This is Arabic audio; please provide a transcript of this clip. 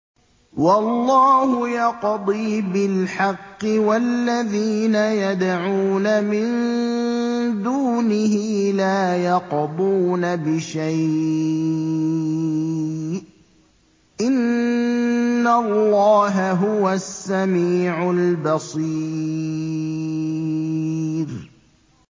وَاللَّهُ يَقْضِي بِالْحَقِّ ۖ وَالَّذِينَ يَدْعُونَ مِن دُونِهِ لَا يَقْضُونَ بِشَيْءٍ ۗ إِنَّ اللَّهَ هُوَ السَّمِيعُ الْبَصِيرُ